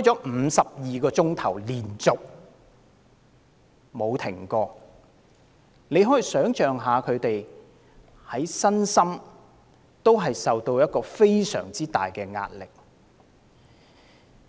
作了52小時，其間全無中斷，可以想象其身心承受多麼巨大的壓力。